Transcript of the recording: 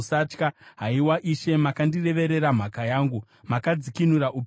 Haiwa Ishe, makandireverera mhaka yangu; makadzikinura upenyu hwangu.